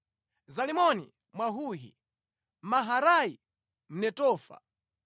Zalimoni Mwahohi, Maharai Mnetofa,